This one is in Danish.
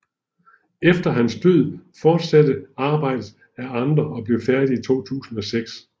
Efter hans død fortsattes arbejdet af andre og blev færdigt 2006